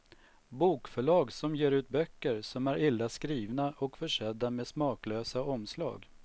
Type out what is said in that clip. Bokförlag som ger ut böcker som är illa skrivna och försedda med smaklösa omslag.